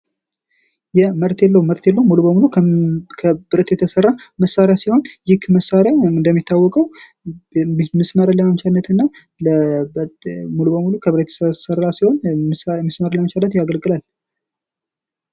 መርቴሌ ሙሉ በሙሉ ከብረት የተሰራ መሣሪያ ሲሆን ይህ መሳሪያ እንደሚታወቀው ሚስማርን ለመቻነትና ሙሉ ከሙሉ ከብረት የተሰራ ሲሆን ሚስማርን ለመቻነት ያገለግላል።